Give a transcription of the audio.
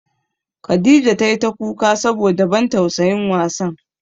Khadijah tai ta kuka saboda ban tausayin wasan.